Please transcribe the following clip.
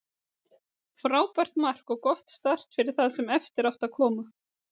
Frábært mark og gott start fyrir það sem eftir átti að koma.